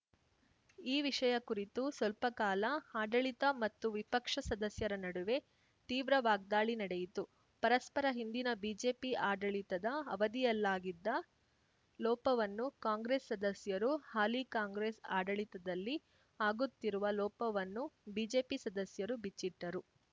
ಈ ವಿಷಯ ಕುರಿತು ಸ್ವಲ್ಪಕಾಲ ಆಡಳಿತ ಮತ್ತು ವಿಪಕ್ಷ ಸದಸ್ಯರ ನಡುವೆ ತೀವ್ರ ವಾಗ್ದಾಳಿ ನಡೆಯಿತು ಪರಸ್ಪರ ಹಿಂದಿನ ಬಿಜೆಪಿ ಆಡಳಿತದ ಅವಧಿಯಲ್ಲಾಗಿದ್ದ ಲೋಪವನ್ನು ಕಾಂಗ್ರೆಸ್‌ ಸದಸ್ಯರು ಹಾಲಿ ಕಾಂಗ್ರೆಸ್‌ ಆಡಳಿತದಲ್ಲಿ ಆಗುತ್ತಿರುವ ಲೋಪವನ್ನು ಬಿಜೆಪಿ ಸದಸ್ಯರು ಬಿಚ್ಚಿಟ್ಟರು